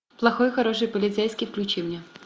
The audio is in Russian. плохой хороший полицейский включи мне